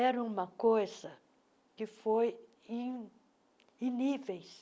Era uma coisa que foi em em níveis.